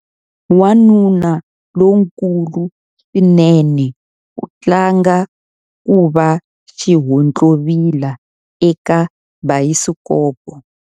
Wanuna lonkulu swinene u tlanga ku va xihontlovila eka bayisikopo.